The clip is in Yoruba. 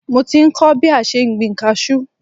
Mo ti ń kọ́ bí a ṣe ń gbin kaṣú